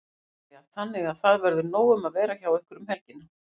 Helga María: Þannig að það verður nóg um að vera hjá ykkur um helgina?